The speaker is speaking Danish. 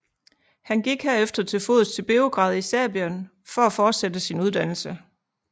Han gik herefter til fods til Beograd i Serbien for at fortsætte sin uddannelse